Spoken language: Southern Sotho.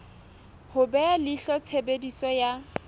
ho beha leihlo tshebediso ya